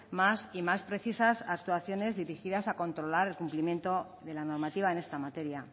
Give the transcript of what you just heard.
más y más precisas actuaciones dirigidas a controlar el cumplimiento de la normativa en esta materia